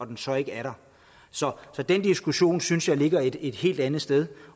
den så ikke er der så den diskussion synes jeg ligger et helt andet sted